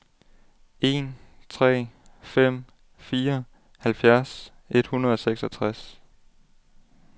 en tre fem fire halvfjerds et hundrede og seksogtres